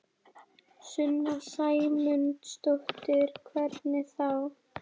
Sunna Sæmundsdóttir: Hvernig þá?